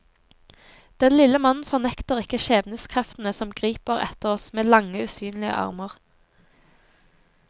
Den lille mannen fornekter ikke skjebnekreftene som griper etter oss med lange, usynlige armer.